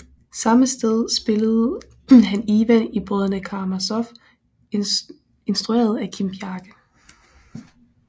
Samme sted spillede han Ivan i Brødrene Karamazov instrueret af Kim Bjarke